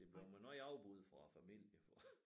Det blev med nogle afbud fra æ familie for